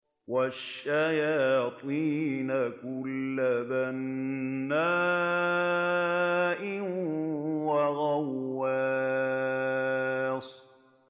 وَالشَّيَاطِينَ كُلَّ بَنَّاءٍ وَغَوَّاصٍ